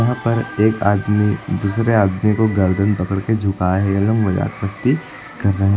वहां पर एक आदमी दूसरे आदमी को गर्दन पकड़ के झुकाए है ये लोग मजाक मस्ती कर रहे --